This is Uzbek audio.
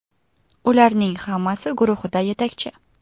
Ularning hammasi guruhida yetakchi.